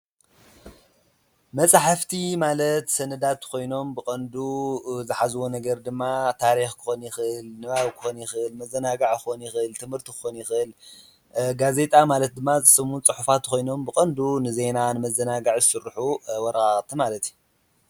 መጻሕፍቲ ማለት ሰንዳት ኾይኖም ብቐንዱ ዝኃዝዎ ነገር ድማ ታሪኽ ኮን ይኽል፣ ንባዊ ኮን ይኽል መዘናግዕ ኾን ኽል ትምህርቱ ኾን ይኽል። ጋዜጣ ማለት ድማ ዘስሙ ጽሑፋት ኾይኖም ብቐንዱ ንዘይና ንመዘናጋዕ ሱርኁ ወቃቅቲ ማለት እየ